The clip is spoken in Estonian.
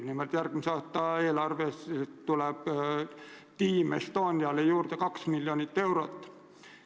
Nimelt antakse järgmise aasta eelarves Team Estoniale juurde kaks miljonit eurot.